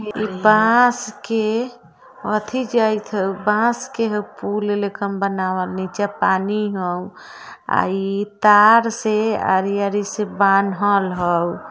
बाँस के अथी जाई थउ बाँस के हउ पुल लेखान बनावल नीचे पानी हउ आ इ तार से आरी-आरी से बांधल हउ --